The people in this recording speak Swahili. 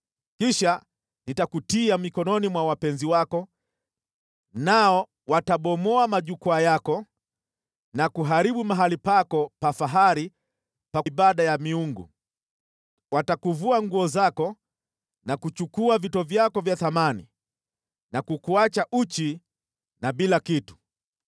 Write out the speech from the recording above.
Kisha nitakutia mikononi mwa wapenzi wako, nao watabomoa majukwaa yako na kuharibu mahali pako pa fahari pa ibada ya miungu. Watakuvua nguo zako na kuchukua vito vyako vya thamani na kukuacha uchi na bila kitu.